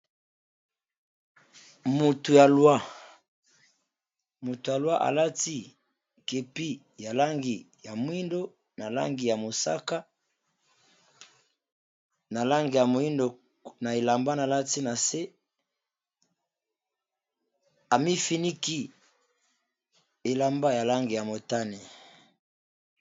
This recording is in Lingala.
Moto ya loi, a lati kepi ya langi ya moyindo, na langi ya mosaka na langi ya moyindo, na elamba a lat ina se, a mifiniki elamba ya langi ya motane .